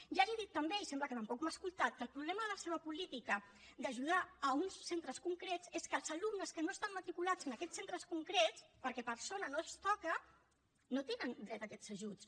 ja li he dit també i sembla que tampoc m’ha escoltat que el problema de la seva política d’ajudar uns centres concrets és que els alumnes que no estan matriculats en aquests centres concrets perquè per zona no els toca no tenen dret a aquests ajuts